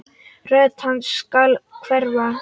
Rödd hans skal hverfa.